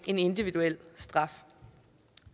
en individuel straf